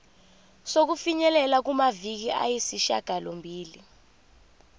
sokufinyelela kumaviki ayisishagalombili